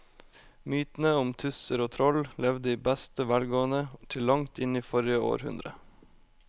Mytene om tusser og troll levde i beste velgående til langt inn i forrige århundre.